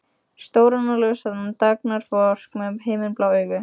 Stóran og ljóshærðan dugnaðarfork með himinblá augu.